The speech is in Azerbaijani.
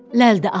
ləl də al.